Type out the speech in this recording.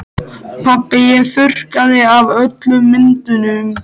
Pabbi ég þurrkaði af öllum myndunum.